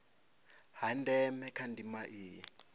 ha ndeme kha ndima iyi